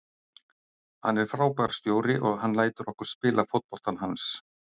Hann er frábær stjóri og hann lætur okkur spila fótboltann hans.